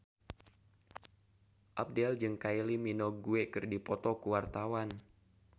Abdel jeung Kylie Minogue keur dipoto ku wartawan